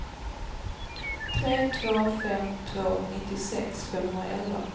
tre två fem två nittiosex femhundraelva